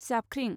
जाबख्रिं